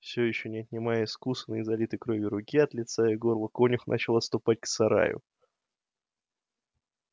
всё ещё не отнимая искусанной и залитой кровью руки от лица и горла конюх начал отступать к сараю